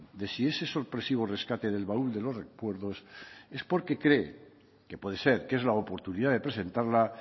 de si ese sorpresivo rescate del baúl de los recuerdos es porque cree que puede ser que es la oportunidad de presentarla